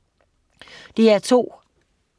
DR2: